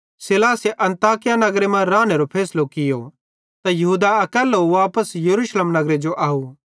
सीलासे अन्ताकिया नगरे मां रानेरो फैसलो कियो ते यहूदा अकैल्लो वापस यरूशलेमे जो आव